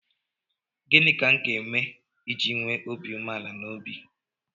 Gịnị ka m ga-eme iji nwee obi umeala n'obi?